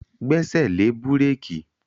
Gbẹ́sẹ̀ lé búrékì!